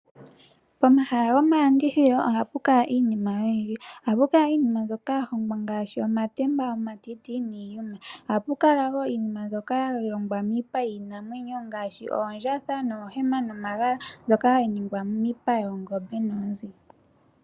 Pomahala gomalandithilo ohapu kala iinima oyindji. Ohapu kala iinima mbyoka ya hongwa ngaashi, omatemba, omatiti, niiyuma. Ohapu kala wo iinima mbyoka ya longwa miipa yiiinamwenyo ngaashi, oondjatha, oohema, nomagala, mbyoka hayi ningwa miipa yoongombe noyoonzi.